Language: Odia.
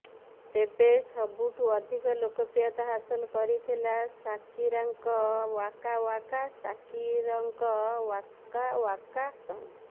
ତେବେ ସବୁଠୁ ଅଧିକ ଲୋକପ୍ରିୟତା ହାସଲ କରିଥିଲା ସାକିରାଙ୍କ ଓ୍ୱାକା ଓ୍ୱାକା ସାକିରଙ୍କ ଓ୍ୱାକା ଓ୍ୱାକା ସଙ୍ଗ